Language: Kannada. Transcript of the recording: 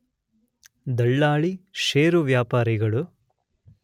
ದಳ್ಳಾಳಿ, ಷೇರು ವ್ಯಾಪಾರಿಗಳು